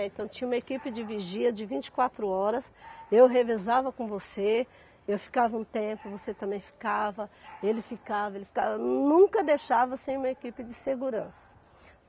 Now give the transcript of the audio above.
É, Então tinha uma equipe de vigia de vinte e quatro horas, eu revezava com você, eu ficava um tempo, você também ficava, ele ficava, ele ficava, nunca deixava sem uma equipe de segurança.